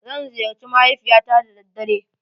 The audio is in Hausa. Zan ziyarci mahaifiyata da daddare.